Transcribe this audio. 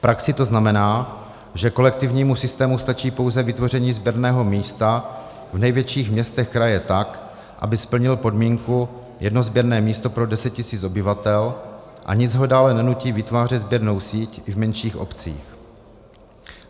V praxi to znamená, že kolektivnímu systému stačí pouze vytvoření sběrného místa v největších městech kraje, tak aby splnil podmínku jedno sběrné místo pro 10 tisíc obyvatel, a nic ho dále nenutí vytvářet sběrnou síť i v menších obcích.